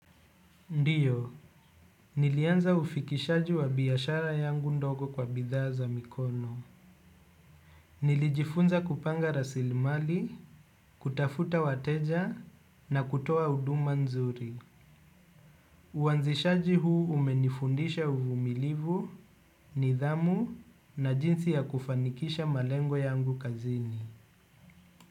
Ndiyo, nilianza ufikishaji wa biashara yangu ndogo kwa bidhaaa za mikono. Nilijifunza kupanga rasilmali, kutafuta wateja na kutoa huduma nzuri. Uanzishaji huu umenifundisha uvumilivu, nidhamu na jinsi ya kufanikisha malengo yangu kazini.